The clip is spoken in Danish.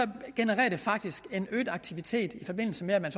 genererer det faktisk en øget aktivitet i forbindelse med at man